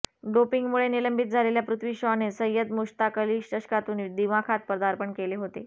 डोपिंगमुळे निलंबित झालेल्या पृथ्वी शॉने सय्यद मुश्ताक अली चषकातून दिमाखात पदार्पण केले होते